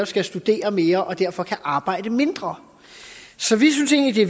skal studere mere og derfor kan arbejde mindre så vi synes egentlig